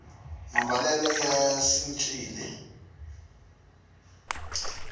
mambalelo ya cincile